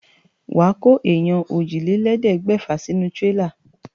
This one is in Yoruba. Wà á kó èèyàn òjìlélẹ̀ẹ́dégbèfà sínú tírélá.